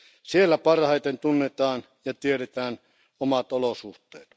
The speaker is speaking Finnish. Siellä parhaiten tunnetaan ja tiedetään omat olosuhteet.